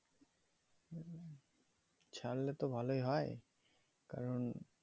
ছাড়লে তো ভালোই হয়ে কারণ